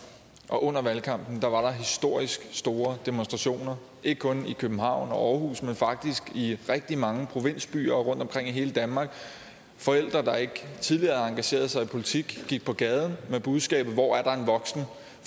og under valgkampen var der historisk store demonstrationer ikke kun i københavn og aarhus men faktisk i rigtig mange provinsbyer rundtomkring i hele danmark forældre der ikke tidligere havde engageret sig i politik gik på gaden med budskabet hvor er der en voksen